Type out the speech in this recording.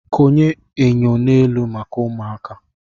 Konye enyo n'elu maka ụmụaka.